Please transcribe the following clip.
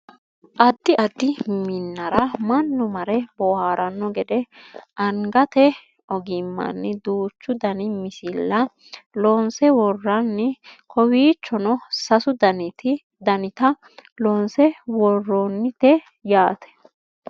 addi addi minnara mannu mare booharanno gede anagate ogimmanni duuchu dani misilla loonse worranni kowiichono sasu danita loonse worroonnite yaate